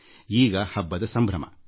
ಈಗ ಈದ್ ಹಬ್ಬದ ಸಂಭ್ರಮ